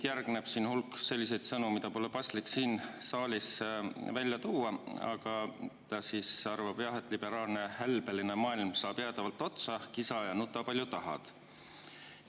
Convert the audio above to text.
" Järgneb hulk selliseid sõnu, mida pole paslik siin saalis välja tuua, aga ta arvab, et liberaalne hälbeline maailm saab jäädavalt otsa, kisa ja nuta, palju tahad.